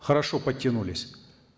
хорошо подтянулись